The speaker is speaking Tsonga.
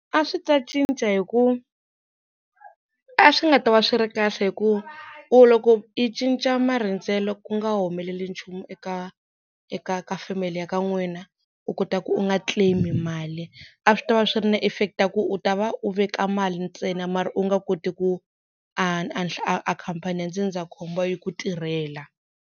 A swi ta cinca hi ku a swi nga ta va swi ri kahle hi ku u loko i cinca marindzelo ku nga humeleli nchumu eka eka ka family ya ka n'wina u kota ku u nga claim mali a swi ta va swi ri na effect ya ku u ta va u veka mali ntsena mara u nga koti ku a khampani ya ndzindzakhombo yi ku tirhela.